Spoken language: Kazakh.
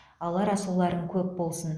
алар асуларың көп болсын